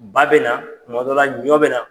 Ba bɛ na tuma dɔ la ɲɔ bɛ na.